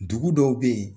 Dugu dɔw bɛ yen